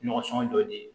Ɲɔgɔn sɔngɔ jɔ de ye